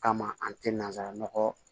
Kama an tɛ nansara nɔgɔ